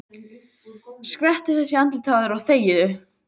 Skvettu þessu í andlitið á þér og þegiðu.